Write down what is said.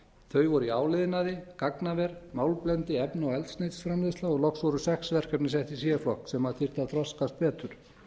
þau voru í áliðnaði gagnaver málmblendi efna og eldsneytisframleiðsla loks voru sex verkefni sett í c flokk sem þyrfti að þroskast betur